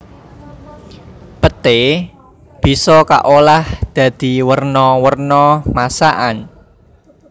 Peté bisa kaolah dadi werna werna masakan